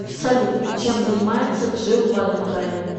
салют чем занимается джилл валентайн